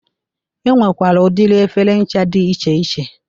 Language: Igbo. E nwekwara udiri efere ncha dị iche iche.